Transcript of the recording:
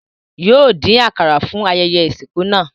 Yóò dín àkàrà fún ayẹyẹ ìsìnkú náà